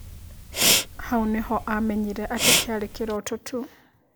Hau nĩho amenyire atĩ kĩarĩ kĩroto tu.